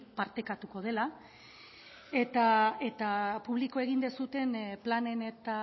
partekatuko dela eta publiko egin duzuen planen eta